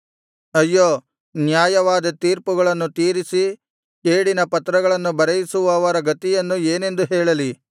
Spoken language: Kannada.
ಅಯ್ಯೋ ಅನ್ಯಾಯವಾದ ತೀರ್ಪುಗಳನ್ನು ತೀರಿಸಿ ಕೇಡಿನ ಪತ್ರಗಳನ್ನು ಬರೆಯಿಸುವವರ ಗತಿಯನ್ನು ಏನೆಂದು ಹೇಳಲಿ